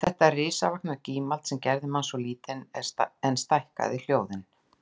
Þetta risavaxna gímald sem gerði mann svo lítinn en stækkaði hljóðin